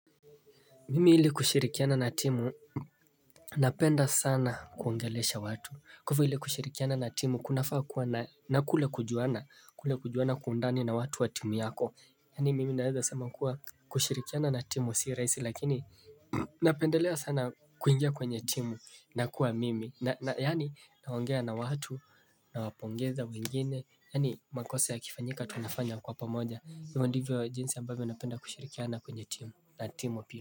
Mimi ili kushirikiana na timu. Napenda sana kuongelesha watu, cause ili kushirikiana na timu kunafaa kuwa na kule kujuana kule kujuana kwa undani na watu wa timu yako, Yaani mimi naweza sema kuwa kushirikiana na timu si rahisi lakini napendelea sana. Kuingia kwenye timu na kuwa mimi, yaani naongea na watu nawapongeza wengine. Yaani makosa yakifanyika tunafanya kwa pamoja ivyo ndivyo jinsi ambavyo unapenda kushirikiana kwenye timu na timu pia.